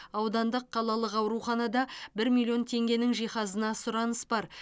аудандық қалалық ауруханада бір миллион теңгенің жиһазына сұраныс бар